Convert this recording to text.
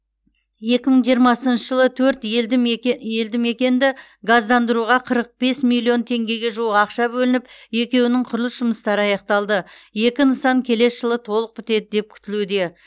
екі мың жиырмасыншы жылы төрт елдімеке елдімекенді газдандыруға қырық бес миллион теңгеге жуық ақша бөлініп екеуінің құрылыс жұмыстары аяқталды екі нысан келесі жылы толық бітеді деп күтілуде